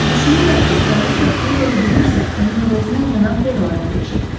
Düşünürlər ki, kraliçə pulu verə bilmirsə, onun əvəzinə Cənab De Roan ödəyəcək.